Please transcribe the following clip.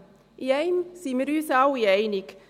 In einem sind wir uns alle einig: